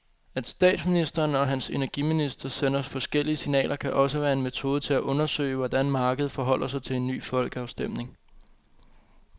At statsministeren og hans energiminister sender forskellige signaler kan også være en metode til at undersøge, hvordan markedet forholder sig til en ny folkeafstemning.